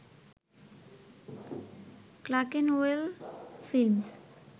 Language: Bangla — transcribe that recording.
Clerkenwell films